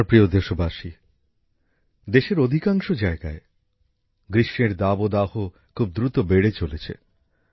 আমার প্রিয় দেশবাসী দেশের অধিকাংশ জায়গায় গ্রীষ্মের দাবদাহ খুব দ্রুত বেড়ে চলেছে